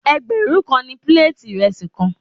Ẹgbẹ̀rún kan ni píléètì ìrẹsì kan.